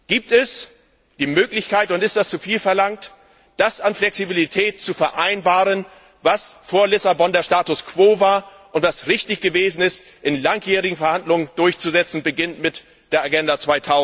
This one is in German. Gibt es die Möglichkeit, und ist das zuviel verlangt, das an Flexibilität zu vereinbaren, was vor Lissabon der Status quo war, und was richtig gewesen ist, in langjährigen Verhandlungen durchzusetzen, beginnend mit der Agenda